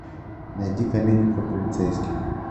найди комедию про полицейских